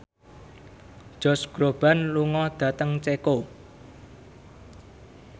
Josh Groban lunga dhateng Ceko